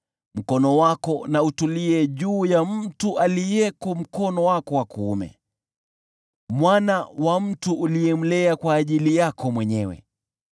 Mkono wako na utulie juu ya mtu aliyeko mkono wako wa kuume, mwana wa mtu uliyemlea kwa ajili yako mwenyewe.